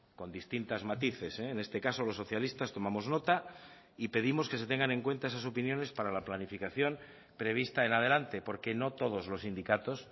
con distintas matices en este caso los socialistas tomamos nota y pedimos que se tengan en cuenta esas opiniones para la planificación prevista en adelante porque no todos los sindicatos